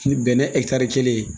Ni bɛnɛ ɛ kelen ye